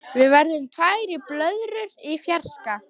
Við verðum tvær blöðrur í fjarska.